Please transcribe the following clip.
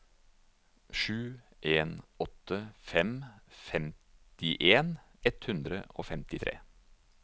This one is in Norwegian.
sju en åtte fem femtien ett hundre og femtitre